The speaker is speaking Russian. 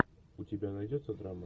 у тебя найдется драма